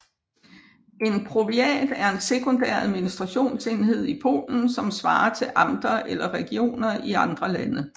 En powiat er en sekundær administrationsenhed i Polen som svarer til amter eller regioner i andre lande